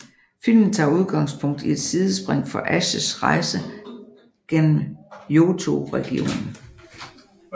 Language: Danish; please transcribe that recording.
Filmen tager udgangspunkt i et sidspring fra Ashs rejse gennem Johto regionen